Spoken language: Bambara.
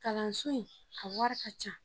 Kalanso in a wari ka ca